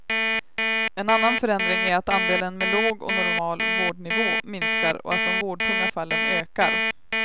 En annan förändring är att andelen med låg och normal vårdnivå minskar och att de vårdtunga fallen ökar.